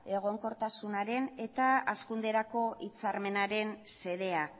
egonkortasunaren eta hazkunderako hitzarmenaren xedea